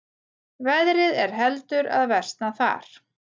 Veðrið er heldur að versna þar